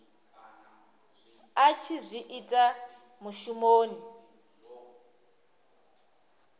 a tshi zwi ita mushumoni